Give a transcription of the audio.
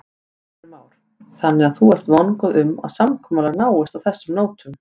Heimir Már: Þannig að þú ert vongóð um að samkomulag náist á þessum nótum?